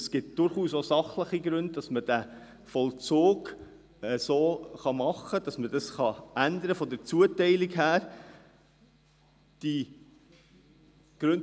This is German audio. Es gibt durchaus auch sachliche Gründe, den Vollzug hinsichtlich der Zuteilung zu ändern.